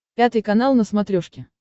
пятый канал на смотрешке